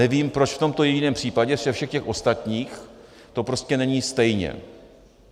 Nevím, proč v tomto jediném případě ze všech těch ostatních to prostě není stejně.